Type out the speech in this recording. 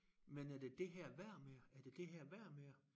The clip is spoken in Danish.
Men er det det her værd med at er det det her værd med at